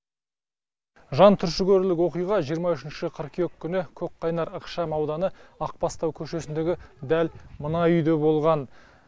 жантүршігерлік оқиға жиырма үшінші қыркүйек күні көкқайнар ықшамауданы ақбастау көшесіндегі дәл мына үйде болған